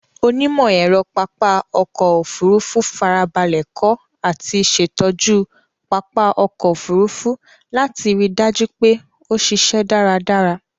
Onímọ̀-ẹ̀rọ pápá ọkọ̀ Òfurufú farabalẹ̀ kọ́ àti ṣẹ̀tọ́jú pápá ọkọ̀ Òfurufú láti ri dájú pé ó ṣíṣẹ́ dáradára.